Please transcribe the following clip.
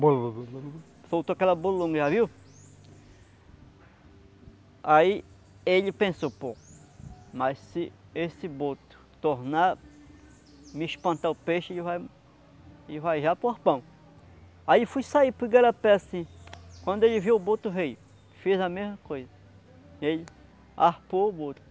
soltou aquela bolhona já viu? Aí, ele pensou, pô, mas se esse boto tornar me espantar o peixe ele vai, ele vai já para o arpão. Aí fui sair para o Igarapé assim, quando ele viu o boto veio, fez a mesma coisa e ele arpou o boto.